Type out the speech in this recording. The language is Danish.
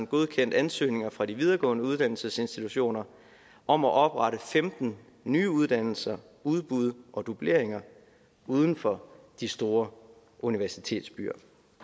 godkendt ansøgninger fra de videregående uddannelsesinstitutioner om at oprette femten nye uddannelser udbud og dubleringer uden for de store universitetsbyer